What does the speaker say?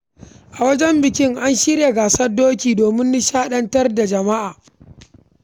A wajen bikin, an shirya gasar tseren doki domin nishaɗantar da jama’a.